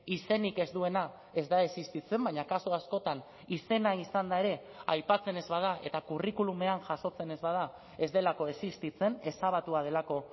izenik ez duena ez da existitzen baina kasu askotan izena izanda ere aipatzen ez bada eta curriculumean jasotzen ez bada ez delako existitzen ezabatua delako